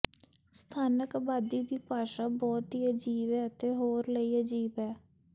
ਸਥਾਨਕ ਆਬਾਦੀ ਦੀ ਭਾਸ਼ਾ ਬਹੁਤ ਹੀ ਅਜੀਬ ਹੈ ਅਤੇ ਹੋਰ ਲਈ ਅਜੀਬ ਹੈ